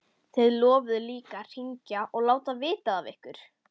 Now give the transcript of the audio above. Þið lofuðuð líka að hringja og láta vita af ykkur.